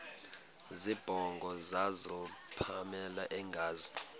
zibongo zazlphllmela engazi